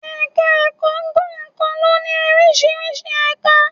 Ẹ̀ka-ẹ̀kọ́ kọ̀ọ̀kan ló ní oríṣiríṣi ẹ̀ka.